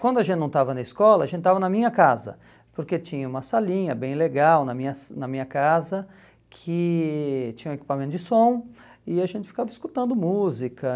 Quando a gente não estava na escola, a gente estava na minha casa, porque tinha uma salinha bem legal na minha na minha casa que tinha um equipamento de som e a gente ficava escutando música.